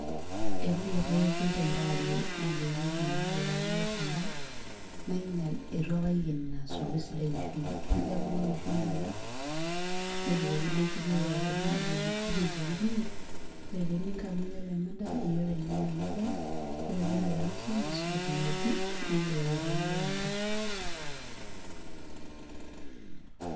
Etii likai kekun te ng'ewarie naajoki mamalai paayier endaa, nainyal etu apa aiken ina asuku esidai e shumbi najo abukoki shumbi nchi nebukokino shumbi pookin naajoki naajoki ninye, ore tee eninko amu iyiolo ena daa iyie openy nanya ena daa. Ore piindip ainosa niisuj ina moti niing'il ayiaraki iyiiok enkae.